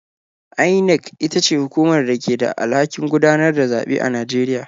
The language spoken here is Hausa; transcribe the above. INEC ita ce hukumar da ke da alhakin gudanar da zaɓe a Najeriya.